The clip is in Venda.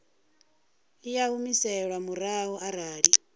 i a humiselwa murahu arali